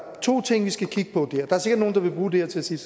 to ting vi skal kigge på der er sikkert nogle der vil bruge det her til at sige